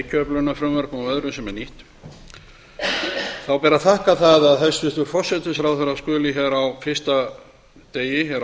og öðrum frumvörpum sem er nýtt ber að þakka það að hæstvirtur forsætisráðherra skuli á fyrsta degi